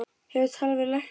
Hefurðu talað við lækni?